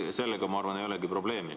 Sellega, ma arvan, ei olegi probleemi.